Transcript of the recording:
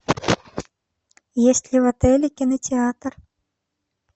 есть ли в отеле кинотеатр